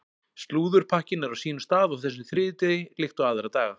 Slúðurpakkinn er á sínum stað á þessum þriðjudegi líkt og aðra daga.